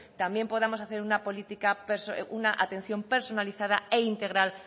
también podamos hacer una atención personalizada e integral